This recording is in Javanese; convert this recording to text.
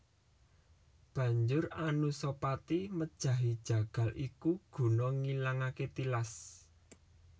Banjur Anusapati mejahi jagal iku guna ngilangaké tilas